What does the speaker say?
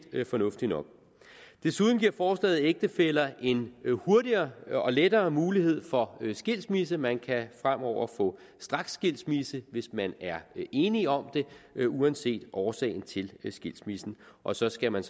fornuftigt nok desuden giver forslaget ægtefæller en hurtigere og lettere mulighed for skilsmisse man kan fremover få straksskilsmisse hvis man er enige om det uanset årsagen til skilsmissen og så skal man